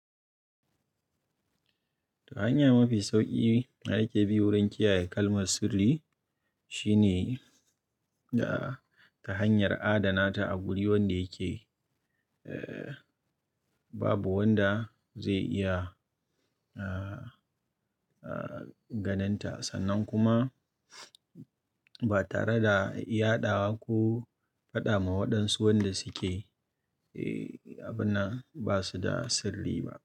Ta hanya mafi sauƙi ake bi wurin kiyaye kalmar sirri shine da ta hanyar adana ta a wuri wanda yake, eh, babu wanda zai iya, eh, eh, ganin ta sannan kuma ba tare da iya ɗawa ko faɗa ma waɗansu wanda suke, eh, abun nan ba su da sirri ba.